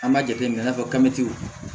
An b'a jateminɛ i n'a fɔ kabini